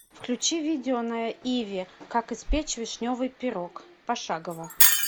включи видео на иви как испечь вишневый пирог пошагово